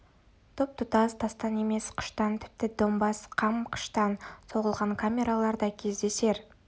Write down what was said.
тұп-тұтас тастан емес қыштан тіпті домбаз қам қыштан соғылған камералар да кездесер